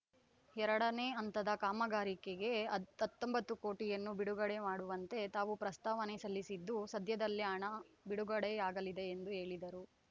ಎರಡನೇ ಹಂತದ ಕಾಮಗಾರಿಗೆ ಹತ್ತೊಂಬತ್ತು ಕೋಟಿಯನ್ನು ಬಿಡುಗಡೆ ಮಾಡುವಂತೆ ತಾವು ಪ್ರಸ್ತಾವನೆ ಸಲ್ಲಿಸಿದ್ದು ಸದ್ಯದಲ್ಲೇ ಹಣ ಬಿಡುಗಡೆಯಾಗಲಿದೆ ಎಂದು ಹೇಳಿದರು